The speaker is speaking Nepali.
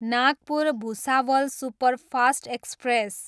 Nagpur, Bhusawal superfast express